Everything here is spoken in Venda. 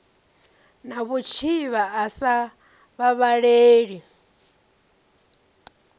na vhutshivha a sa vhavhaleli